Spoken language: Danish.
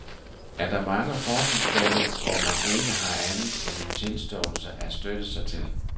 Er der mange fortilfælde, hvor man ikke har andet end en tilståelse at støtte sig til?